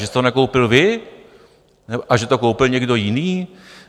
Že jste to nekoupil vy a že to koupil někdo jiný?